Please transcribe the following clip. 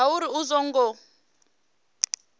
hu uri a zwo ngo